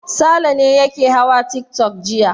Sale ne yake hawa tiktok jiya.